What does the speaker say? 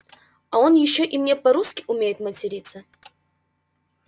а он ещё и не по-русски умеет материться